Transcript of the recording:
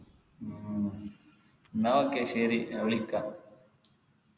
ഉം എന്ന okay ശരി ഞാൻ വിളിക്കാ